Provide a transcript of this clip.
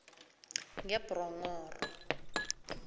ngebronghoro